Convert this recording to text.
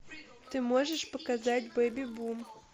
ты можешь показать беби бум